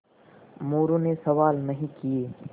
मोरू ने सवाल नहीं किये